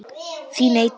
Þín Eydís.